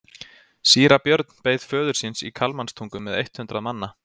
Síra Björn beið föður síns í Kalmanstungu með eitt hundrað manna.